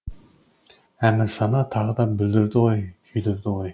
әмірсана тағы да бүлдірді ғой күйдірді ғой